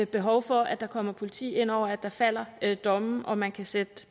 behov for at der kommer politi ind over og at der falder domme og man kan sætte